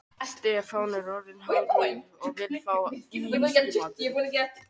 Tveir þeirra stærstu eru svonefnt klassískt mígreni og venjulegt mígreni.